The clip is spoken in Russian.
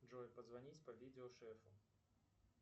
джой позвонить по видео шефу